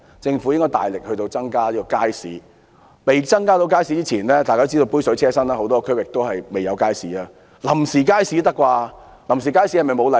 政府應大力增加街市的數目，而在未能增設街市前——大家都知道，杯水車薪，很多地區仍然未有街市——興建臨時街市也可以吧？